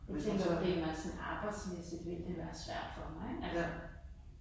Jeg tænker primært sådan arbejdsmæssigt ville det være svært for mig ik altså